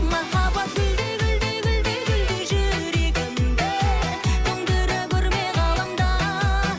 махаббат гүлдей гүлдей гүлдей гүлдей жүрегімді тоңдыра көрме ғаламда